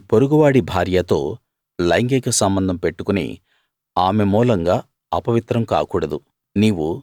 నీ పొరుగువాడి భార్యతో లైంగిక సంబంధం పెట్టుకుని ఆమె మూలంగా అపవిత్రం కాకూడదు